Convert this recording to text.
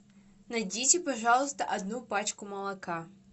найдите пожалуйста одну пачку молока